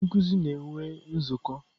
Ndị nkuzi na-enwe nzukọ.